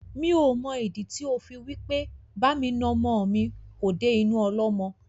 Mi ò mọ ìdí tí ó fi wí pé bá mi na ọmọ mi kò dé inú ọlọ́mọ.